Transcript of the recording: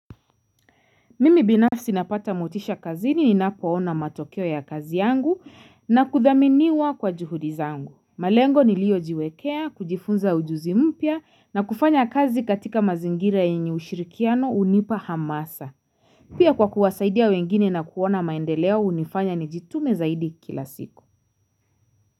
Mimi binafsi napata motisha kazini ninapoona matokeo ya kazi yangu na kuthaminiwa kwa juhudi zangu. Malengo niliyojiwekea, kujifunza ujuzi mpya na kufanya kazi katika mazingira yenye ushirikiano hunipa hamasa. Pia kwa kuwasaidia wengine na kuona maendeleo hunifanya nijitume zaidi kila siku.